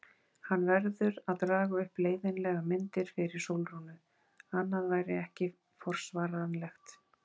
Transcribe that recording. Hann verður að draga upp leiðinlegar myndir fyrir Sólrúnu, annað væri ekki forsvaranlegt.